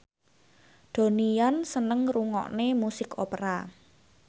Donnie Yan seneng ngrungokne musik opera